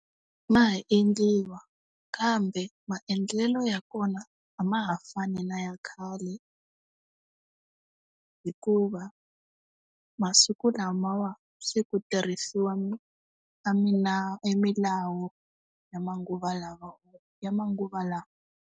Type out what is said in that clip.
Ma ha endliwa. Kambe maendlelo ya kona a ma ha fani na ya khale. Hikuva, masiku lamawa se ku tirhisiwa e milawu, ya ya manguva lawa.